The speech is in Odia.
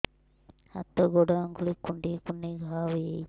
ହାତ ଗୋଡ଼ ଆଂଗୁଳି କୁଂଡେଇ କୁଂଡେଇ ଘାଆ ହୋଇଯାଉଛି